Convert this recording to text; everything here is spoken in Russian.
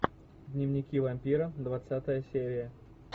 дневники вампира двадцатая серия